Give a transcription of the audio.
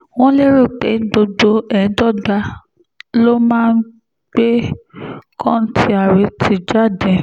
wọ́n lérò pé gbogbo ẹ̀dọ́gba ló máa ń gbé kọ́ńtíárẹ́tì jáde